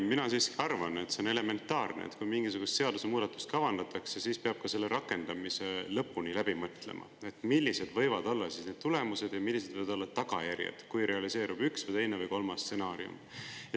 Mina siiski arvan, et on elementaarne, et kui mingisugust seadusemuudatust kavandatakse, siis peab lõpuni läbi mõtlema ka selle rakendamise, millised võivad olla tulemused ja millised võivad olla tagajärjed, kui realiseerub üks või teine või kolmas stsenaarium.